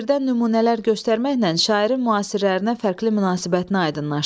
Şeirdən nümunələr göstərməklə şairin müasirlərinə fərqli münasibətinə aydınlaşdırın.